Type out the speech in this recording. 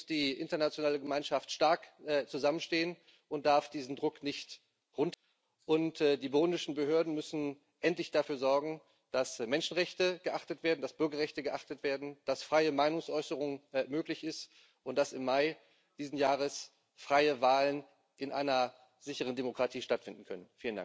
Deswegen muss die internationale Gemeinschaft stark zusammenstehen und darf in diesem Druck nicht nachlassen. Und die burundischen Behörden müssen endlich dafür sorgen, dass Menschenrechte geachtet werden, dass Bürgerrechte geachtet werden, dass freie Meinungsäußerung möglich ist und dass im Mai dieses Jahres freie Wahlen in einer sicheren Demokratie stattfinden können.